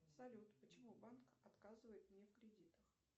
салют почему банк отказывает мне в кредитах